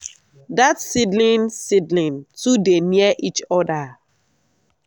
dat seedling seedling too dey near each other.